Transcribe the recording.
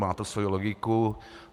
Má to svoji logiku.